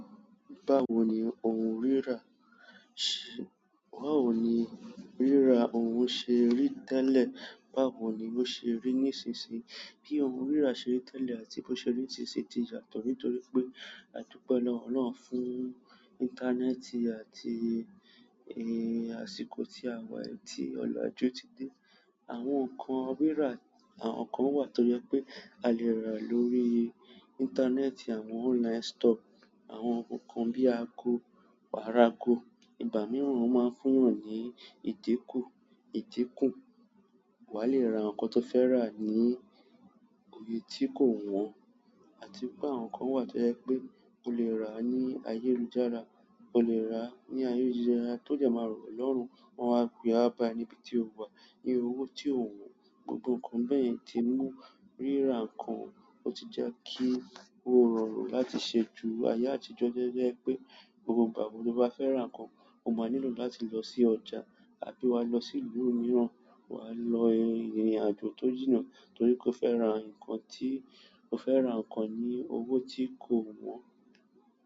Báwo ni ohun rírà ṣi, báwo ni rírà ohun ṣe rí tẹ́lẹ̀, báwo ni ó ṣe rí nísinsìnyí? Bí ohun rírà ṣe rí tẹ́lẹ̀ àti bí ó ṣe rí nísinsìnyí ti yàtọ̀ nítorí pé àdupẹ́ lọ́wọ́ Ọlọ́run fún íńtánẹ́ẹ̀tì àti àsìkò ti àwa yí ti ọlaju ti dé. Àwọn nǹkan rírà, àwọn nǹkan wà tó jẹ́ pé a lè rà lórí íńtánẹ́ẹ̀tì, àwọn online store. Àwọn nkankan bíi ago, wàá rà ago, ìgbà mìíràn wọ́n máa ń fún èèyàn ní ìdíkún. Wà á le ra nǹkan tó fẹ́ rà ní iye tí kò wọ́n àti pé àwọn nǹkan wà tó jẹ́ pé o le rà ní ayélujára, o le rà ní ayélujára tó jẹ máa rọ ọ lọ́rùn. Wọn á gbé wá bá ẹ níbi tí o wà ní owó tí o wọ́n. Gbogbo nǹkan bẹ́ẹ̀ yẹn ti mú rírà nǹkan ó ti jẹ́ kí ó rọrùn láti ṣe ju ayé àtijọ́ jẹ́ ẹ pé gbogbo ìgbà bóo bá fẹ́ ra nǹkan, o máa nílò láti lọ sí ọjà àbí wá lọ sí ìlú mìíràn. Wà á lo ìrìnàjò tó jìnnà torí pé o fẹ́ ra nǹkan tí o fẹ́ ra nǹkan ní owó tí kò wọ́n.